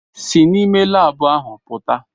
Si n'ime laabụ ahụ pụta!